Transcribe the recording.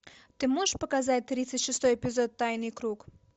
ты можешь показать тридцать шестой эпизод тайный круг